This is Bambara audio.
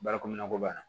Baara komin na ko b'a la